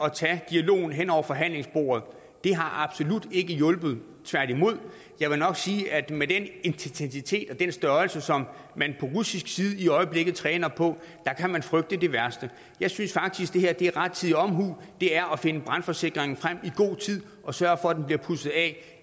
at tage dialogen hen over forhandlingsbordet det har absolut ikke hjulpet tværtimod jeg vil nok sige at med den intensitet og den størrelse som man på russisk side i øjeblikket træner på kan man frygte det værste jeg synes faktisk at det her er rettidig omhu det er at finde brandforsikringen frem i god tid og sørge for at den bliver pudset af